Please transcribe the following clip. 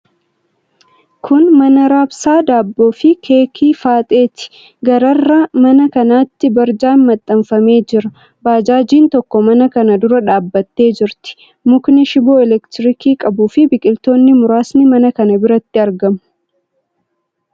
Kun mana raabsaa daabboo fi keekii Faaxeeti. Gararraa mana kanaatti barjaan maxxanfamee jira. Baajaajiin tokko mana kana dura dhaabbattee jirti. Mukni shiboo elektirikii qabuu fi biqiltoonni muraasni mana kana biratti argamu.